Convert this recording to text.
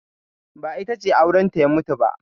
Ba, ita ce aurenta ya mutu ba.